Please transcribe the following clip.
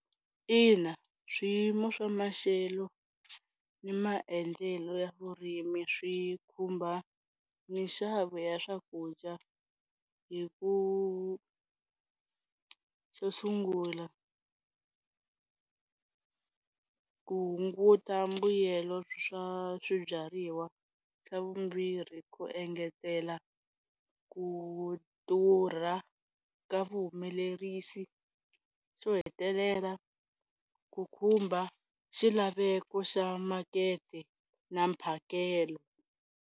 Ina swiyimo swa maxelo na maendlelo ya vurimi swi khumba minxavo ya swakudya hi ku xo sungula ku hunguta mbuyelo swa swibyariwa, xa vumbirhi ku engetela ku durha ka vuhumelerisi, xo hetelela ku khumba xilaveko xa makete na mphakelo.